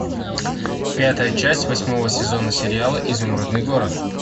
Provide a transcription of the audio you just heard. пятая часть восьмого сезона сериала изумрудный город